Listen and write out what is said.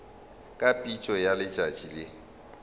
ka phišo ya letšatši le